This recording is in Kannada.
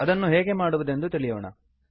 ಅದನ್ನು ಹೇಗೆ ಮಾಡುವುದೆಂದು ತಿಳಿಯೋಣ